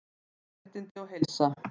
Mannréttindi og heilsa